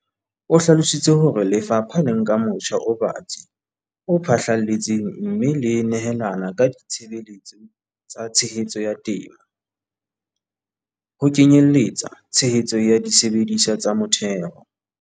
O hlalositse hore le fapha le nka motjha o batsi o phahlalletseng mme le nehelana ka ditshebeletso tsa tshehetso ya temo, ho kenye lletsa tshehetso ya disebediswa tsa motheo.